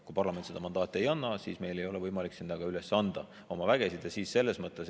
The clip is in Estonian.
Kui parlament seda mandaati ei anna, siis ei ole meil võimalik oma vägesid sinna üles anda.